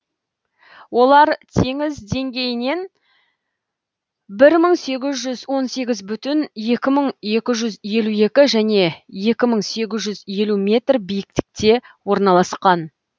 олар теңіз деңгейінен бір мың сегіз жүз он сегіз бүтін екі мың екі жүз елу екі және екі мың сегіз жүз елу метр биіктікте орналасқан